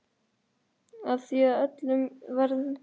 Og það í öllum veðrum.